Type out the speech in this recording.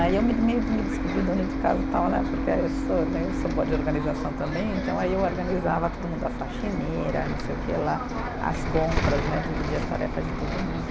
Aí eu me meio de me descobri dona de casa tal né, porque eu sou né, eu sou boa de organização também, então aí eu organizava todo mundo, a faxineira não sei o quê lá, as compras né, dividia as tarefas de todo mundo.